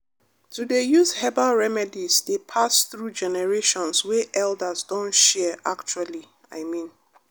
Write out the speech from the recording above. to dey use herbal remedies dey pass through generations wey elders don share actually i mean